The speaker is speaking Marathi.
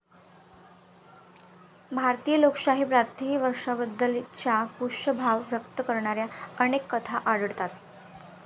भारतीय लोकशाही त्यातही वृक्षाबद्दल चा पूज्यभाव व्यक्त करणाऱ्या अनेक कथा आढळतात